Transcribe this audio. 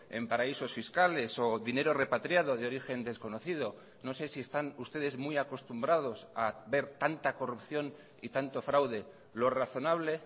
en paraísos fiscales o dinero repatriado de origen desconocido no sé si están ustedes muy acostumbrados a ver tanta corrupción y tanto fraude lo razonable